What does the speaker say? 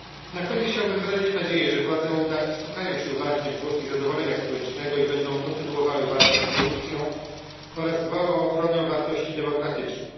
Na koniec chciałbym wyrazić nadzieję, że władze Mołdawii wsłuchają się uważnie w głosy niezadowolenia społecznego i będą kontynuowały walkę z korupcją oraz dbały o ochronę wartości demokratycznych.